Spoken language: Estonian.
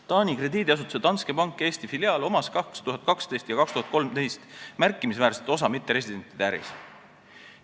Taani krediidiasutuse Danske Bank Eesti filiaalil oli 2012 ja 2013 märkimisväärne osa mitteresidentide äris.